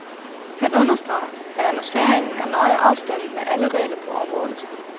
Han understreger, at annonceringen er nøje afstemt med alle regler på området.